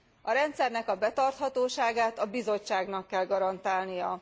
A rendszernek a betarthatóságát a Bizottságnak kell garantálnia.